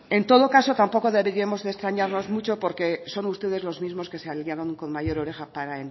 en todo caso tampoco deberíamos de extrañarnos mucho porque son ustedes los mismos que se aliaron con mayor oreja para